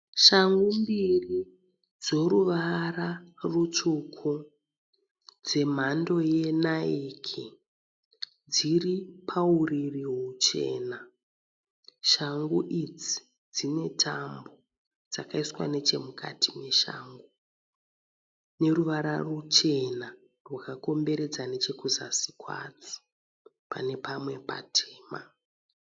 Shangu mbiri dzoruvara rutsvuku dzemhando yeNike. Dziri pauriri huchena. Shangu idzi dzine tambo dzakaiswa nechemukati meshangu. Neruvara ruchena rwakakomberedza nechekuzasi kwadzo pane pamwe patema.